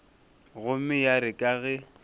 gomme ya re ka ge